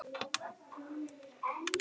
Loksins, loksins birti.